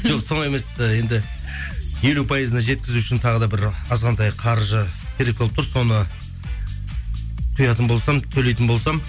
жоқ солай емес енді елу пайызына жеткізу үшін тағы да бір азғантай қаржы керек болып тұр соны құятын болсам төлейтін болсам